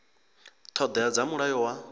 ṱho ḓea dza mulayo wa